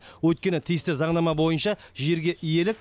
өйткені тиісті заңнама бойынша жерге иелік